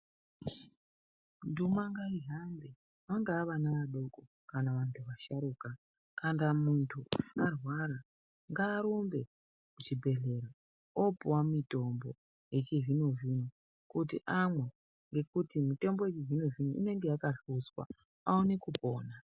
Nduma ngaihambe vangava vana vadoko kana vantu vasharukwa vantu ngavarware kana arwara ngarumbe kuchibhedhlera opuwa mutombo wechizvino zvino kuti amwe ngekuti mitombo yechizvino zvino inenge yakahluzwa aone kupona.